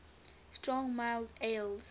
strong mild ales